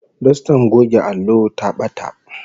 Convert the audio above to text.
Dostar goge allo ta bata